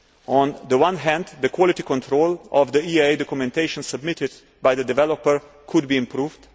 On the one hand, the quality control of the EIA documentation submitted by the developer could be improved.